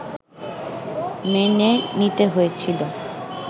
মেনে নিতে হয়েছিল